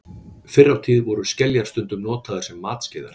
fyrr á tíð voru skeljar stundum notaðar sem matskeiðar